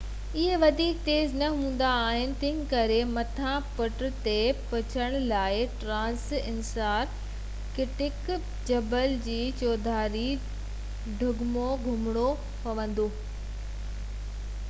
اهي وڌيڪ تيز نہ هوندا آهن تنهنڪري مٿانهن پٽ تي پهچڻ لاءِ ٽرانس انٽارڪٽڪ جبل جي چوڌاري ڊگهو گهمڻو پوندو